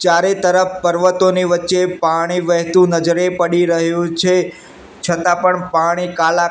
ચારે તરફ પર્વતોની વચ્ચે પાણી વહેતુ નજરે પડી રહ્યુ છે છતા પણ પાણી કાલા--